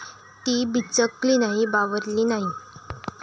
ती बिचकली नाही, बावरली नाही.